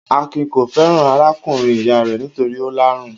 Akin kò fẹ́ràn arákùnrin-ìyá rẹ̀ nítorí ó lárun.